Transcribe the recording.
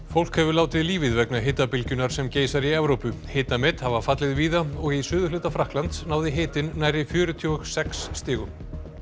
fólk hefur látið lífið vegna hitabylgjunnar sem geisar í Evrópu hitamet hafa fallið víða og í suðurhluta Frakklands náði hitinn nærri fjörutíu og sex stigum